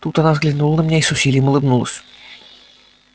тут она взглянула на меня и с усилием улыбнулась